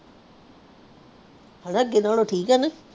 ਅਗੇ ਨਾਲੋਂ ਠੀਕ ਆ ਨਹੀਂ